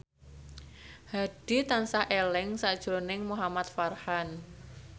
Hadi tansah eling sakjroning Muhamad Farhan